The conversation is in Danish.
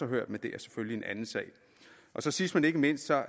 hørt men det er en anden sag sidst men ikke mindst